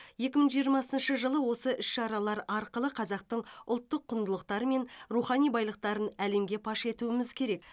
екі мың жиырмасыншы жылы осы іс шаралар арқылы қазақтың ұлттық құндылықтары мен рухани байлықтарын әлемге паш етуіміз керек